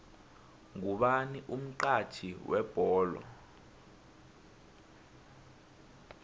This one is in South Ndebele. ngubani umxhatjhi webholo